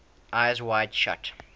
eyes wide shut